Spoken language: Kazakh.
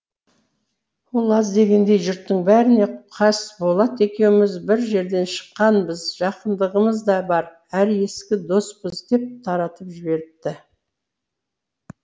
ол аз дегендей жұрттың бәріне қасболат екеуміз бір жерден шыққанбыз жақындығымыз да бар әрі ескі доспыз деп таратып жіберіпті